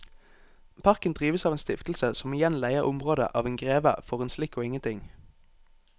Parken drives av en stiftelse som igjen leier området av en greve for en slikk og ingenting.